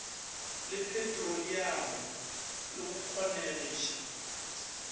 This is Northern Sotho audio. le petroliamo le go kgonegiša